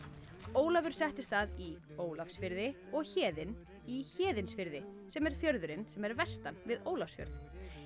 Ólafur settist að í Ólafsfirði og Héðinn í Héðinsfirði sem er fjörðurinn vestan við Ólafsfjörð